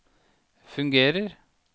fungerer